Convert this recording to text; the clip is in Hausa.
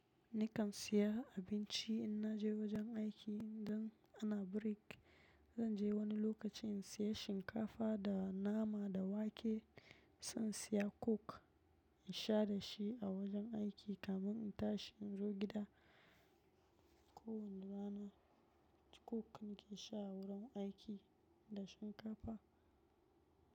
Ni kan siya abinci in na je wajen aiki idan ana break. Zan je wani lokaci in siya shinkafa da nama da wake. Sai in siya coke in sha dashi a wajen aiki kamin in tashi in zo gida. Ko wani rana Coke nake sha a wurin aiki da shinkafa.